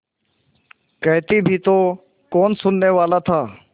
कहती भी तो कौन सुनने वाला था